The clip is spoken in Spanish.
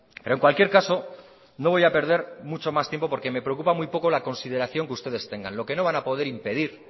pero en cualquier caso no voy a perder mucho más tiempo porque me preocupa muy poco la consideración que ustedes tengan lo que no van a poder impedir